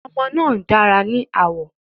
Ọmọbìnrin náà dára ní àwọ̀